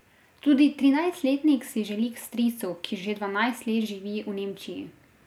Tudi trinajstletnik si želi k stricu, ki že dvanajst let živi v Nemčiji.